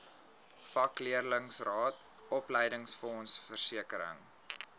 vakleerlingraad opleidingsfonds versekering